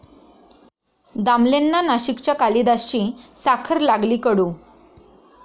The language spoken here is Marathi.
दामलेंना नाशिकच्या कालिदासची 'साखर' लागली कडू